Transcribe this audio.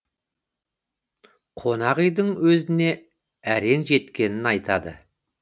қонақ үйдің өзіне әрең жеткенін айтады